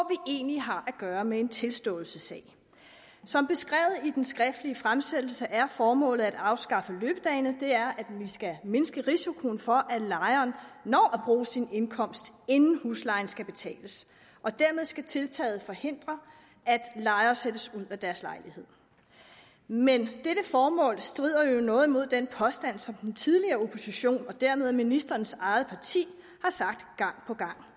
egentlig har at gøre med en tilståelsessag som beskrevet i den skriftlige fremsættelse er formålet med at afskaffe løbedagene at vi skal mindske risikoen for at lejeren når at bruge sin indkomst inden huslejen skal betales og dermed skal tiltaget forhindre at lejere sættes ud af deres lejligheder men dette formål strider jo noget imod den påstand som den tidligere opposition og dermed ministerens eget parti gang på gang